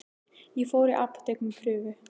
Ég fór í apótek með prufu.